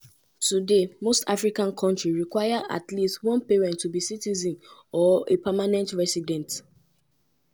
citizenship even dey more restrictive for most asian kontris where primarily na by descent as e dey happun um for um nations like china malaysia and singapore.